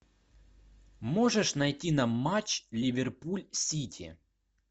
можешь найти нам матч ливерпуль сити